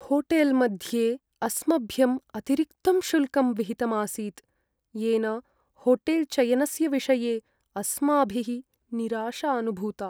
होटेल्मध्ये अस्मभ्यम् अतिरिक्तं शुल्कं विहितम् आसीत्, येन होटेल्चयनस्य विषये अस्माभिः निराशा अनुभूता।